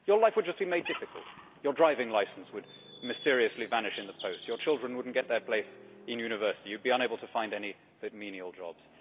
Your life would just be made difficult your driving licence would mysteriously vanish in the post, your children would not get their place in university, you would be unable to find any but menial jobs.